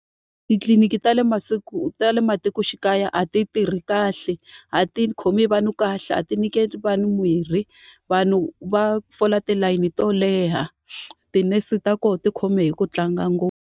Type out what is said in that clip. Titliliniki ta le ta le matikoxikaya a ti tirhi kahle, a ti khomi vanhu kahle, a ti nyiketi vanhu mirhi. Vanhu va fola tilayini to leha, tinese ta kona ti khome hi ku tlanga ngopfu.